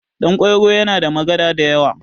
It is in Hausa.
Ɗan kwairo yana da magada da yawa